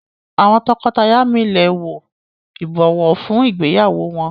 Àwọn tọkọtaya mí lẹ wò ibọwọ fún ìgbéyàwó wón.